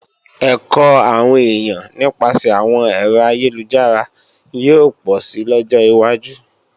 Ẹ̀kọ́ àwọn èèyàn nípasẹ̀ àwọn ẹ̀rọ ayélujára yóò pọ̀si lọ́jọ́ wájú